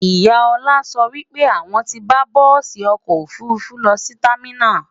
ìyá Ola sọ wípé àwon tí bá bùsi ọkọ òfurufú lọsí terminals